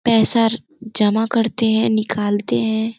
पैसार जमा करते हैं निकालते हैं।